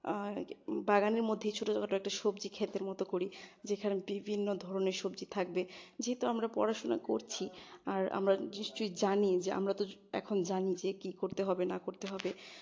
অ্যাঁ বাগানের মধ্যেই ছোটখাটো একটা সবজি ক্ষেতের মত করি, যেখানে বিভিন্ন ধরনের সবজি থাকবে যেহেতু আমরা পড়াশোনা করছি আর আমরা নিশ্চয় জানি যে আমরা তো এখন জানি যে কি করতে হবে না করতে হবে